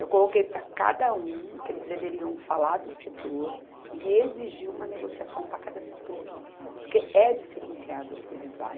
Eu coloquei para cada um que eles deveriam falar do setor e exigir uma negociação para cada setor, porque é diferenciado as coisas lá.